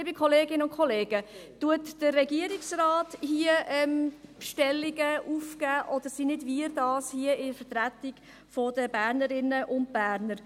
Liebe Kolleginnen und Kollegen, gibt der Regierungsrat hier Bestellungen auf, oder sind wir diejenigen, in Vertretung der Bernerinnen und Berner?